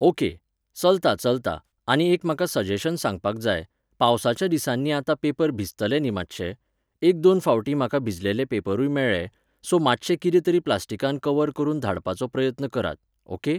Okay, चलतां चलतां आनी एक म्हाका सजेशन सांगपाक जाय, पावसाच्या दिसांनी आतां पेपर भिजतले न्ही मातशे? एक दोन फावटी म्हाका भिजलले पेपरूय मेळ्ळे , सो मातशें कितें तरी प्लास्टिकान कवर करून धाडपाचो प्रयत्न करात. ओके?